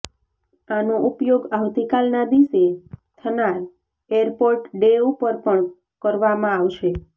આનો ઉપયોગ આવતીકાલના દિસે થનાર એરપોર્ટ ડે ઉપર પણ કરવામાં આવશે